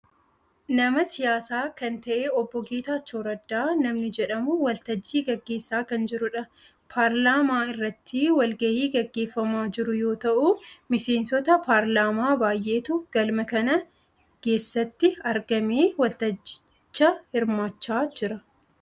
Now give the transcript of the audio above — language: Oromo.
Nama siyaasaa kan ta'e obbo Geetachoo Raddaa namni jedhamu waltajjii gaggeessaa kan jirudha. Paarlaamaa irratti wal gahii gaggeeffamaa jiru yoo ta'u, miseensota paarlaamaa baayyeetu galma kana geessatti argamee waltajjicha hirmaachaa jira.